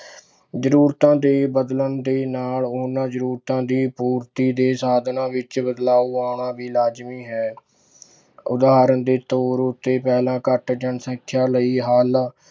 ਜ਼ਰੂਰਤਾਂ ਦੇ ਬਦਲਣ ਦੇ ਨਾਲ ਉਹਨਾਂ ਜ਼ਰੂਰਤਾਂ ਦੀ ਪੂਰਤੀ ਦੇ ਸਾਧਨਾਂ ਵਿੱਚ ਬਦਲਾਵ ਆਉਣਾ ਵੀ ਲਾਜ਼ਮੀ ਹੈ ਉਦਾਹਰਣ ਦੇ ਤੌਰ ਉੱਤੇ ਪਹਿਲਾਂ ਘੱਟ ਜਨਸੰਖਿਆ ਲਈ ਹੱਲ